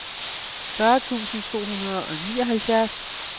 fyrre tusind otte hundrede og nioghalvtreds